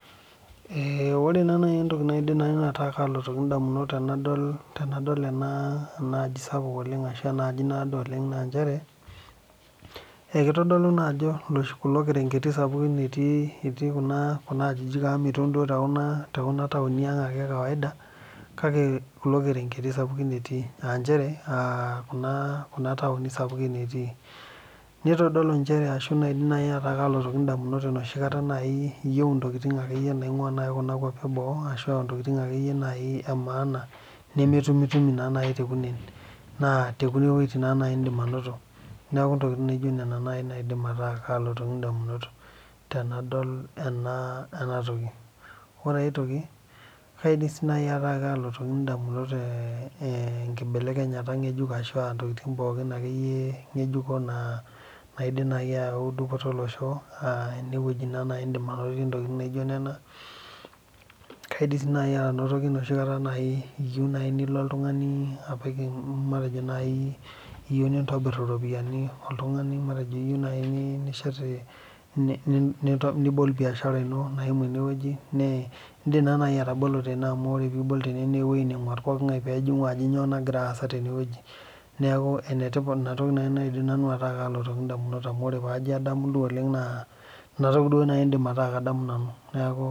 Ee ore naa nai entoki naidim nai nanu ataa kaalotoki indamunot tenadol tenadol ena ena aaji sapuk oleng' ashu ena aji naado oleng' naa inchere ee kitodolu naa ajo iloshi kulo kereneg'eti sapukin etii etii kuna kuna ajijik amu miton duo too kuna too kuna taoni aang' ake e kawaida, kake kulo kereng'eti sapukin etii aa inchere kuna kuna taoni sapukin etii. Nitodolu inchere ashu naidim nai ataa kaalotoki indamunot enoshi kata nai iyeu intokitin naing'ua akeyie nai kuna kuapi e boo ashu aa intokitin akeyie nai e maana nemetumitumi naa nai tekunen naa te kune wueitin naa nai iindim ainoto, neeku intokitin naijo nena nai naidim ataa kaalotoki indamunot tenadol ena ena toki. Ore ai toki kaidim sii nai ataa kaalotoki indamunot ee ee enkibelekenyata nkejuk ashu aa intokitin pookin akeyie ng'ejuko naa naidim nai ayau dupoto olosho aa ene wueji naa nai indim ainotie ntokitin naijo nena. Kaidim sii nai anotoki enoshi kata nai iyiu nai nilo oltung'ani apik matejo nai iyeu nintobir iropiani oltung'ani, matejo iyeu nai nishet i nibol biashara ino naimu ene wueji ne, iindim taa nai atabolo tene amu ore piibol tene nee ewuei neng'uar poking'ai peejing'u ajo nyoo nagira aasa tene wueji. Neeku ene tipat ina toki naidim nai nanu ataa kaalotoki indamunot amu ore paajo adamu oleng' naa inatoki duo iindim ataa adamu nanu neeku..